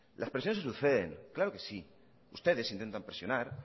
las presiones se suceden claro que sí ustedes intentan presionar